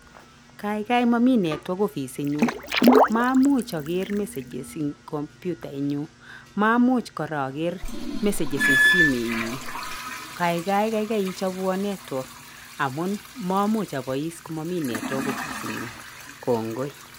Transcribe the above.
Kaigai mami network ofisitnyu. Maamuch aker messages eng kompyutaitnyu, maamuch kora aker messages eng simoitnyu. Kaigai kaikai ichopwo network amun maamuch aboiis komami network ofisitnyu. Kongoi.